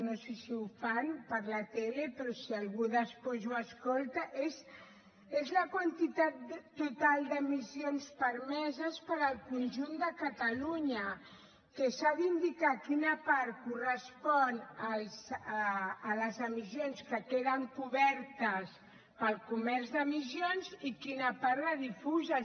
no sé si ho fan per la tele però per si algú després ho escolta la quantitat total d’emissions permeses per al conjunt de catalunya que s’ha d’indicar quina part correspon a les emissions que queden cobertes pel comerç d’emissions i quina part de difuses